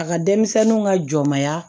A ka denmisɛnninw ka jɔnmaya